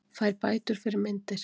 Fær bætur fyrir myndir